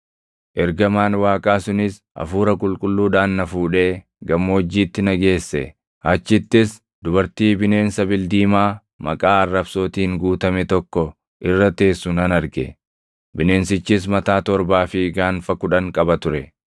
Ergamaan Waaqaa sunis Hafuura Qulqulluudhaan na fuudhee gammoojjiitti na geesse. Achittis dubartii bineensa bildiimaa maqaa arrabsootiin guutame tokko irra teessu nan arge; bineensichis mataa torbaa fi gaanfa kudhan qaba ture.